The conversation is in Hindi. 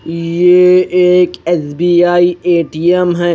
ये एक एस_बी_आई ए_टी_ऍम है।